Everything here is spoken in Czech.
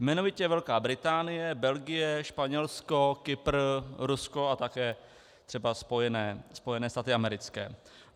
Jmenovitě Velká Británie, Belgie, Španělsko, Kypr, Rusko a také třeba Spojené státy americké.